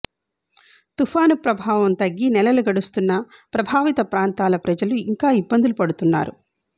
తుఫాను ప్రభావం తగ్గి నెలలు గడుస్తున్నా ప్రభావిత ప్రాంతాల ప్రజలు ఇంకా ఇబ్బందులు పడుతున్నారు